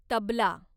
tabla